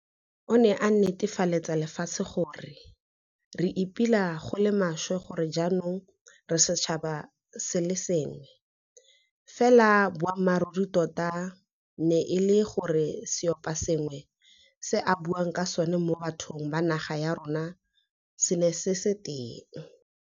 O ne a netefaletsa lefatshe gore, re ipela go le maswe gore jaanong re setšhaba se le sengwe. Fela boammaruri tota e ne e le gore seoposengwe se a buang ka sona mo bathong ba naga ya rona se ne se se teng.